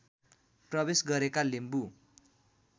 प्रवेश गरेका लिम्बू